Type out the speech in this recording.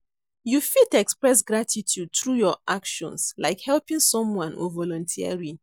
You fit express gratitude through your actions, like helping someone or volunteering.